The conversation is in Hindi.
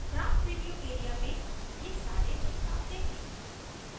graph preview area में ये सारे बदलाव देखें